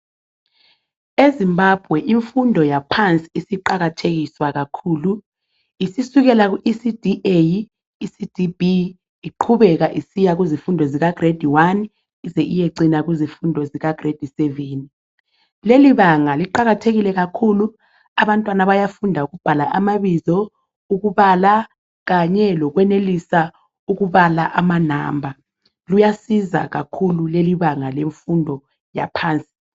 EZimbabwe imfundo yaphansi isiqakathekiswa kakhulu. Isisukela kuECD A,ECD B iqhubeka isiya kuzifundo zika Giredi 1 ize iyecina kuzifundo zikaGiredi 7. Lelibanga liqakathekile kakhulu, abantwana bayafunda ukubhala amabizo, ukubala kanye lokwenelisa ukubala amanamba. Luyasiza kakhulu lelibanga lemfundo yaphansi.